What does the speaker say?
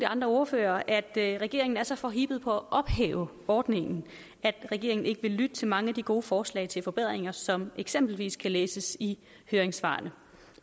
andre ordførere at regeringen er så forhippet på at ophæve ordningen at regeringen ikke vil lytte til mange af de gode forslag til forbedringer som eksempelvis kan læses i høringssvarene